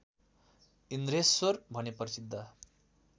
इन्द्रेश्वर भनी प्रसिद्ध